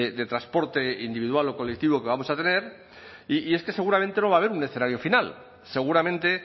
de transporte individual o colectivo que vamos a tener y es que seguramente no va a haber un necesario final seguramente